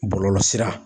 Bɔlɔlɔsira